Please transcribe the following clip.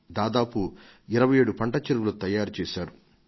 దాదాపు 27 పంట చెరువులను తయారు చేశారు